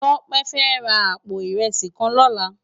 Tope fè rá àpó irèsí kán lòlá